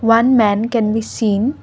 one man can be seen.